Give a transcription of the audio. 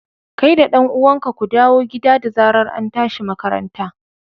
kai da dan uwanka ku dawo gida da zarar antashi makaranta.